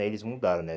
Aí eles mudaram, né?